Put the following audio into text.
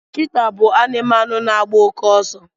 cheetah bụ anụmanụ na agba oke ọsọ